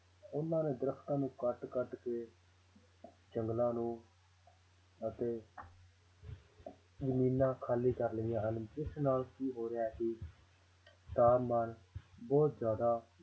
ਉਹਨਾਂ ਨੇ ਦਰੱਖਤਾਂ ਨੂੰ ਕੱਟ ਕੱਟ ਕੇ ਜੰਗਲਾਂ ਨੂੰ ਅਤੇ ਜ਼ਮੀਨਾਂ ਖਾਲੀ ਕਰ ਲਈਆਂ ਹਨ ਜਿਸ ਨਾਲ ਕੀ ਹੋ ਰਿਹਾ ਹੈ ਕਿ ਤਾਪਮਾਨ ਬਹੁਤ ਜ਼ਿਆਦਾ